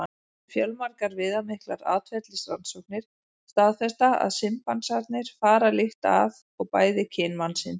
Fjölmargar viðamiklar atferlisrannsóknir staðfesta að simpansarnir fara líkt að og bæði kyn mannsins.